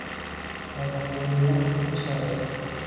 Madhaxweynah ukusare.